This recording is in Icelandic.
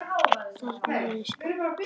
Þarna eru skáld.